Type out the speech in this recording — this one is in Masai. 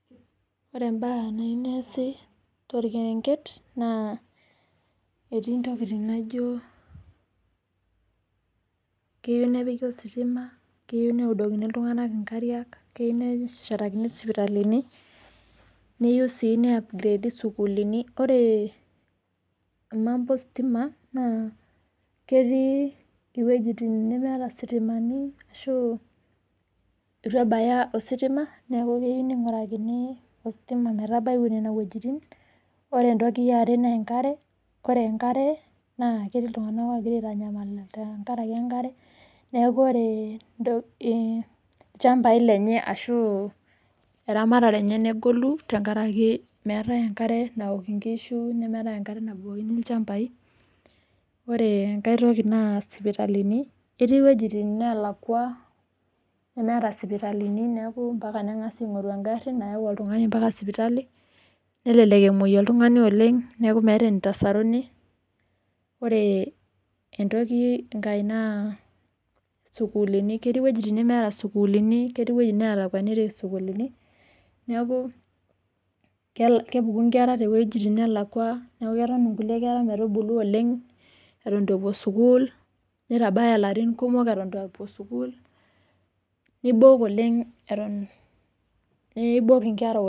Ore embaa nayieu neasi torkerenket naa etii ntokitin naijo keyieu nepiki ositima neyieu neudokini iltunganak enkariak. Keyieu nepiki neshetakini isipitalini, neyieu sii neupgradie sukuulini. Ore emambo ositima naa ketii wuejitin nemeeta ositima ashuu eitu ebaya ositima neaku keyieu neingurakini ositima metabai nena wuejitin. Ore enkoi eare naa enkare, ore enkare naa ketii iltunganak oogira aanyamal tenkaraki enkare. Neaku ore ilchambai lenye ashuu eramatare enye negolu tenkaraki meetai enkare naok inkushu ashuu enkare nabukokini ilchambai. Ore enkai toki naa sipitalini etii wuejitin naalakua nemeeta sipitalini neaku mpaka nengasi aingoru engari nayau oltungani mpaka sipitali, nelelek emuoi oltungani oleng neaku meeta eneitasaruni. Ore entoki ai naa sukuulini. Ketii wuejitin nemeeta sukuulini. Ketii wuejitin neelakwaniki sukuulini neaku kepuku nkera too wuejitin neelakua netoni kulie kera metubulu oleng eton eitu epuo sukuul. Neitabaya ilarin kumok eitu epuo sukuul neibok oleng eton. Neiibok nkera oleng